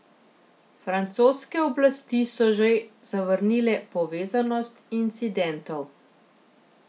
Francoske oblasti so že zavrnile povezanost incidentov.